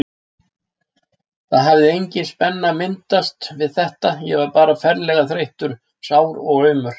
Það hafði engin spenna myndast við þetta, ég var bara ferlega þreyttur, sár og aumur.